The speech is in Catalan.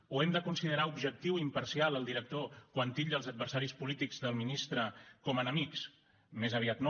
o hem de considerar objectiu i imparcial el director quan titlla els adversaris polítics del ministre com a enemics més aviat no